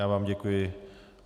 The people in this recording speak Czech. Já vám děkuji.